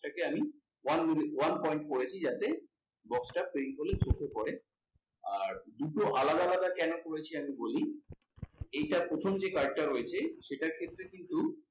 সেটাকে আমি one one pont করেছি যাতে box টা paint হলে চোখে পরে আর দুটো আলাদা আলাদা কেন করেছি আমি বলি, এইটা প্রথম যে card টা রয়েছে সেটার ক্ষেত্রে কিন্তু,